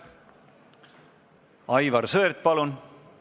Aivar Sõerd, palun!